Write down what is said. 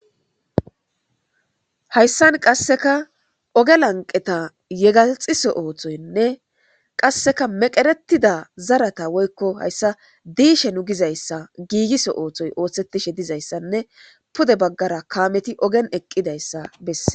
Hayssan qasseka oge lanqeta yegaxiso ooththoynne qasseka meqeretida zarata woykko hayssa diishe nu gizayssa giigiso ooththoy oothsetishe dizayssanne pude baggara kaameti ogen eqqidayssa besseS.